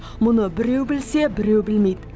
мұны біреу білсе біреу білмейді